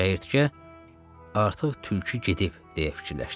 Çəyirtkə artıq tülkü gedib, deyə fikirləşdi.